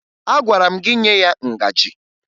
Agwara m gị nye ya ngaji!